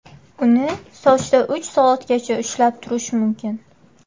Uni sochda uch soatgacha ushlab turish mumkin.